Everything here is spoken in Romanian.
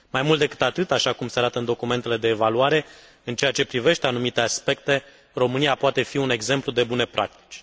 Mai mult decât atât, așa cum se arată în documentele de evaluare, în ceea ce privește anumite aspecte, România poate fi un exemplu de bune practici.